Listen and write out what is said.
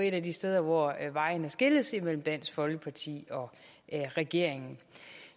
et af de steder hvor vejene skilles imellem dansk folkeparti og regeringen